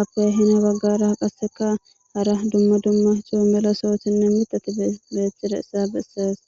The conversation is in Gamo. appe hina baggara qasseka hara dumma dumma xoo mela soothinne mitati beethtida issa bessees